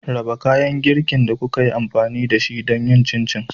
Raba kayan girkin da kuka yi amfani da shi don yin Chin chin.